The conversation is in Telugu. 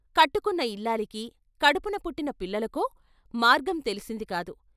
కట్టుకున్న ఇల్లాలికి, కడుపున పుట్టిన పిల్లలకో మార్గం తెలిసింది కాదు.